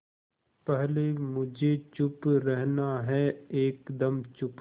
पहले मुझे चुप रहना है एकदम चुप